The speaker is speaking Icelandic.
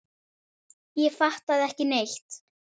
Ég fattaði ekki neitt.